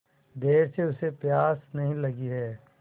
देर से उसे प्यास नहीं लगी हैं